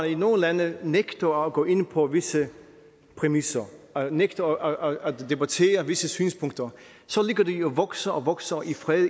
i nogle lande nægter at gå ind på visse præmisser nægter at debattere visse synspunkter ligger de og vokser og vokser i fred